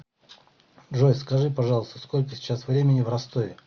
джой скажи пожалуйста сколько сейчас времени в ростове